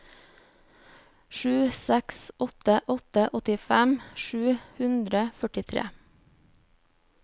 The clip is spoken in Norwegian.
sju seks åtte åtte åttifem sju hundre og førtitre